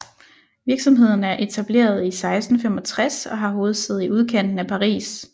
Virksomheden er etableret i 1665 og har hovedsæde i udkanten af Paris